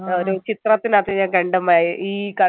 ചിത്രത്തിനകത്ത് ഞാൻ കണ്ട് ഈ കണി